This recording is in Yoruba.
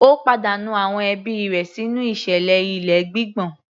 Ó pàdánù àwọn ẹbí rẹ̀ sínú ìṣẹ̀lẹ̀ ilé gbígbọ̀n